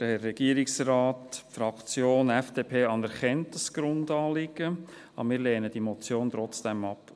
Die Fraktion FDP anerkennt das Grundanliegen, aber wir lehnen diese Motion trotzdem ab.